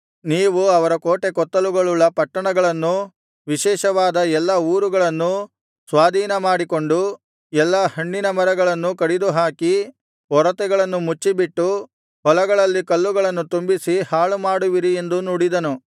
ನೀವು ಅವರ ಕೋಟೆಕೊತ್ತಲುಗಳುಳ್ಳ ಪಟ್ಟಣಗಳನ್ನೂ ವಿಶೇಷವಾದ ಎಲ್ಲಾ ಊರುಗಳನ್ನೂ ಸ್ವಾಧೀನಮಾಡಿಕೊಂಡು ಎಲ್ಲಾ ಹಣ್ಣಿನ ಮರಗಳನ್ನೂ ಕಡಿದುಹಾಕಿ ಒರತೆಗಳನ್ನು ಮುಚ್ಚಿಬಿಟ್ಟು ಹೊಲಗಳಲ್ಲಿ ಕಲ್ಲುಗಳನ್ನು ತುಂಬಿಸಿ ಹಾಳುಮಾಡುವಿರಿ ಎಂದು ನುಡಿದನು